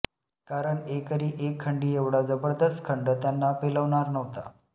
कारण एकरी एक खंडी एवढा जबरदस्त खंड त्यांना पेलवणारा नव्हता